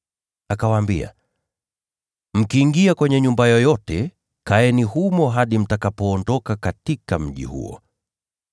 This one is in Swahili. Akawaambia, “Mkiingia kwenye nyumba yoyote, kaeni humo hadi mtakapoondoka katika mji huo.